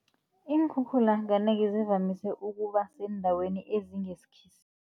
Iinkhukhula kanengi zivamise ukuba seendaweni